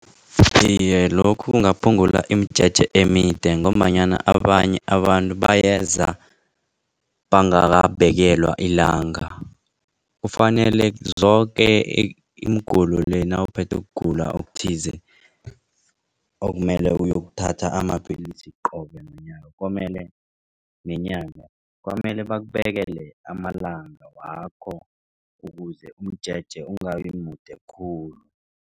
Iye, lokhu kungaphungula imijeje emide ngombanyana abanye abantu bayeza bangabekelwa ilanga. Kufanele zoke nawuphethwe kugula okuthize okumele uyokuthatha amapillisi qobe komele bakubekela amalanga wakho ukuze umjeje ungabi mude khulu.